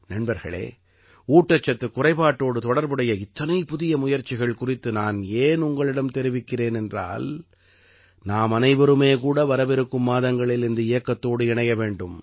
நண்பர்களே ஊட்டச்சத்துக் குறைபாட்டோடு தொடர்புடைய இத்தனை புதிய முயற்சிகள் குறித்து நான் ஏன் உங்களிடம் தெரிவிக்கிறேன் என்றால் நாமனைவருமே கூட வரவிருக்கும் மாதங்களில் இந்த இயக்கத்தோடு இணைய வேண்டும்